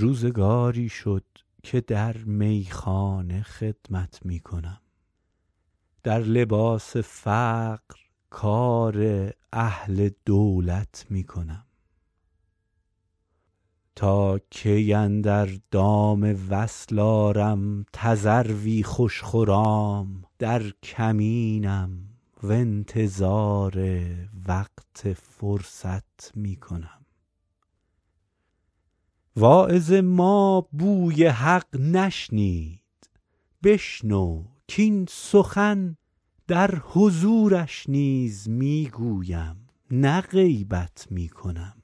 روزگاری شد که در میخانه خدمت می کنم در لباس فقر کار اهل دولت می کنم تا کی اندر دام وصل آرم تذروی خوش خرام در کمینم و انتظار وقت فرصت می کنم واعظ ما بوی حق نشنید بشنو کاین سخن در حضورش نیز می گویم نه غیبت می کنم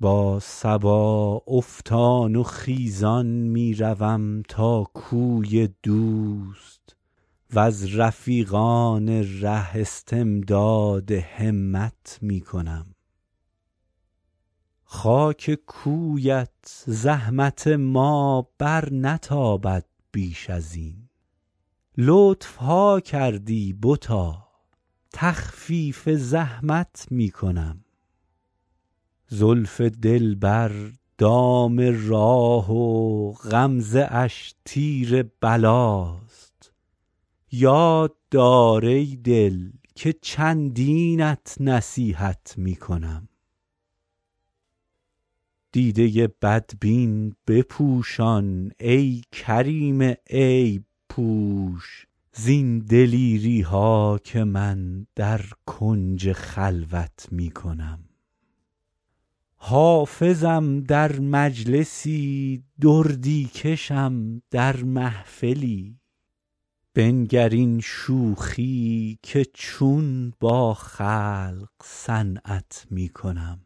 با صبا افتان و خیزان می روم تا کوی دوست و از رفیقان ره استمداد همت می کنم خاک کویت زحمت ما برنتابد بیش از این لطف ها کردی بتا تخفیف زحمت می کنم زلف دلبر دام راه و غمزه اش تیر بلاست یاد دار ای دل که چندینت نصیحت می کنم دیده بدبین بپوشان ای کریم عیب پوش زین دلیری ها که من در کنج خلوت می کنم حافظم در مجلسی دردی کشم در محفلی بنگر این شوخی که چون با خلق صنعت می کنم